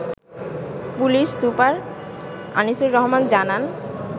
police super Anisur Rahman জানান